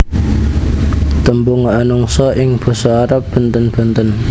Tembung manungsa ing basa Arab bènten bènten